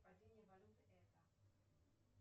падение валюты это